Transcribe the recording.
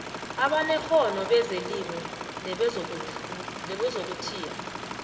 abanekghono bezelimo nebezokuthiya